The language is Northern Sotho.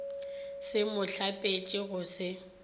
se mo hlapiše go se